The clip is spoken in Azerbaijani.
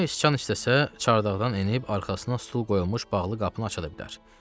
Demək, Sıçan istəsə çardaqdan enib arxasına stol qoyulmuş bağlı qapını aça da bilər.